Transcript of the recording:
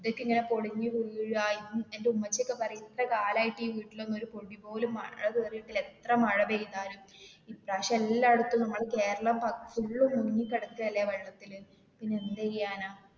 ഇതൊക്കെ ഇങ്ങനെ പൊളിഞ്ഞു വീഴ, എഎന്റെ ഉമ്മച്ചി ഒക്കെ പറയാ ഇത്ര കാലം ആയിട്ട് ഈ വീട്ടില് ഒരു പൊടി പോലും മഴ കേറീട്ടില്ല എത്ര മഴ പെയ്താലും ഇപ്രാവശ്യം എല്ലാടത്തും നമ്മൾ കേരളം full ആയിട്ട് മുങ്ങി കെടക്കല്ലേ വെള്ളത്തില് പിന്നെ എന്ത് ചെയ്യാനാ.